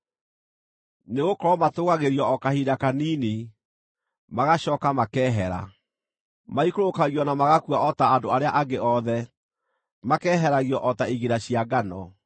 Nĩgũkorwo matũũgagĩrio o kahinda kanini, magacooka makeehera; maikũrũkagio na magakua o ta andũ arĩa angĩ othe; makeeheragio o ta igira cia ngano.